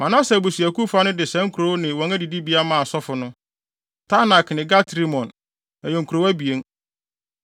Manase abusuakuw fa no de saa nkurow ne wɔn adidibea maa asɔfo no: Taanak ne Gat-Rimon, ɛyɛ nkurow abien.